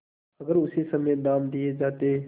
अगर उसी समय दाम दे दिये जाते